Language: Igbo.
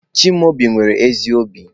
Chimaobi nwere ezi obi.